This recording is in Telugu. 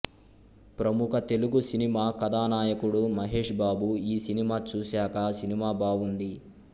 ప్రముఖ తెలుగు సినిమా కథానాయకుడు మహేష్ బాబు ఈ సినిమా చూశాకా సినిమా బావుంది